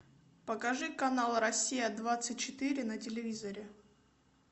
покажи канал россия двадцать четыре на телевизоре